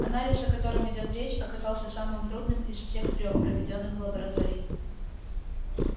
анализ о котором идёт речь оказался самым трудным из всех трёх проведённых в лаборатории